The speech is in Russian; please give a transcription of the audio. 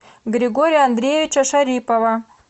григория андреевича шарипова